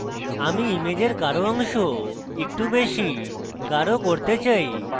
আমি ইমেজের গাঢ় অংশ একটু বেশী গাঢ় করতে চাই